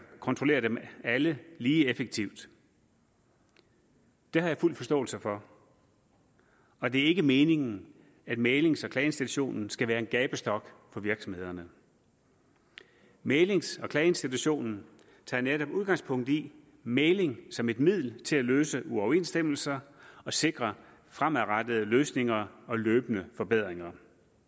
kontrollere dem alle lige effektivt det har jeg fuld forståelse for og det er ikke meningen at mæglings og klageinstitutionen skal være en gabestok for virksomhederne mæglings og klageinstitutionen tager netop udgangspunkt i mægling som et middel til at løse uoverensstemmelser og sikre fremadrettede løsninger og løbende forbedringer